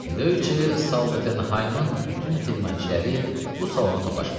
Döyçə Soldatenhaymın bütün xidmətçiləri bu salona toplaşmışdı.